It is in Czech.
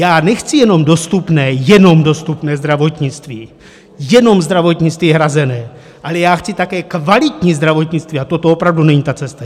Já nechci jenom dostupné, jenom dostupné zdravotnictví, jenom zdravotnictví hrazené, ale já chci také kvalitní zdravotnictví a toto opravdu není ta cesta.